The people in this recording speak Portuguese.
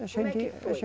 Como é que foi?